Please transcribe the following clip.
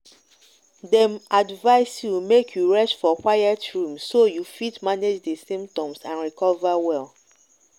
dem advise you make you rest for quiet room so you fit manage di symptoms and recover well.